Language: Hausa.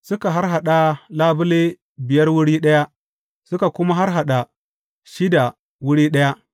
Suka harhaɗa labule biyar wuri ɗaya, suka kuma harhaɗa shida wuri ɗaya.